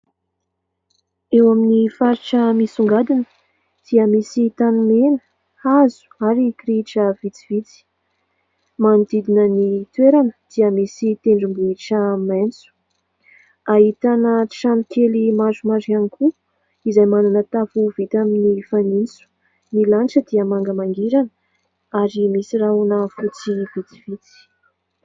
Eo amin'ny faritra misongadina dia misy tanimena, hazo ary kirihitra vitsivitsy. Manodidina ny toerana dia misy tendrombohitra maitso, ahitana trano kely maromaro ihany koa izay manana tafo vita amin'ny fanitso. Ny lanitra dia manga mangirana ary misy rahona fotsy vitsivitsy.